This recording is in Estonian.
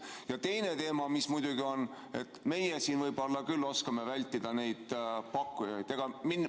Ja teine teema, mis muidugi on, on see, et meie siin võib-olla küll oskame vältida neid pakkujaid.